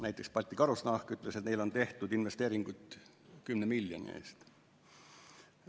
Näiteks, Balti Karusnahk ütles, et neil on tehtud investeeringuid 10 miljoni eest.